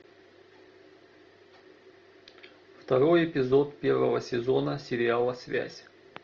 второй эпизод первого сезона сериала связь